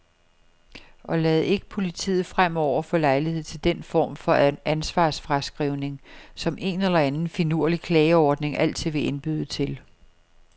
Og lad ikke politiet fremover få lejlighed til den form for ansvarsfraskrivning, som en eller anden finurlig klageordning altid vil indbyde til.